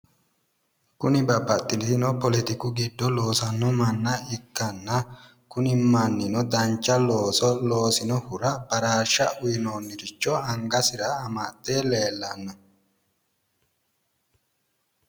Kuni babbaxitino poletiku giddo loosanno manna ikkanna kuni mannino dancha looso loosinohura baraarshsha uuyinoonniricho angasira amxxe leellanno.